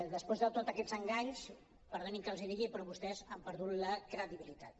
després de tots aquests enganys perdonin que els ho digui però vostès han per·dut la credibilitat